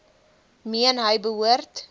meen hy behoort